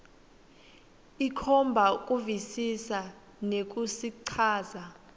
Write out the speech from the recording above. ikhomba kuvisisa nekusichaza